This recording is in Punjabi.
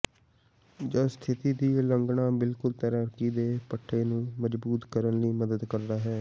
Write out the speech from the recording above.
ਜਦ ਸਥਿਤੀ ਦੀ ਉਲੰਘਣਾ ਬਿਲਕੁਲ ਤੈਰਾਕੀ ਦੇ ਪੱਠੇ ਨੂੰ ਮਜ਼ਬੂਤ ਕਰਨ ਲਈ ਮਦਦ ਕਰਦਾ ਹੈ